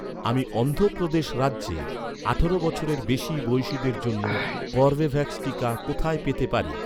আমি অন্ধ্র প্রদেশ রাজ্যে আঠারো বছরের বেশি বয়সিদের জন্য কর্বেভ্যাক্স টিকা কোথায় পেতে পারি?